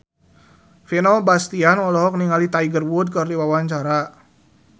Vino Bastian olohok ningali Tiger Wood keur diwawancara